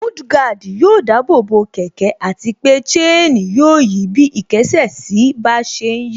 Mudguard yóò dáàbò bo kẹ̀kẹ́ àti pé chain yóò yí bí ìkésè sí bá ṣe ń yí